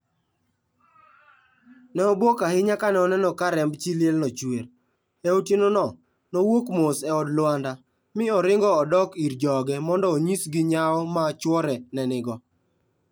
Ne obwok ahinya kane oneno ka remb chi lielno chuer. E otienono, nowuok mos e od Lwanda, mi oringo odok ir joge mondo onyisgi nyawo ma chwore ne nigo.